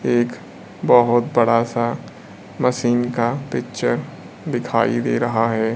एक बहोत बड़ा सा मशीन का पिक्चर दिखाई दे रहा है।